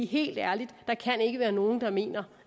helt ærligt ikke været nogen der mener